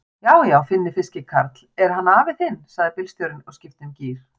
Já, já Finni fiskikarl, er hann afi þinn? sagði bílstjórinn og skipti um gír.